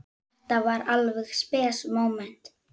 Þetta var alveg spes móment.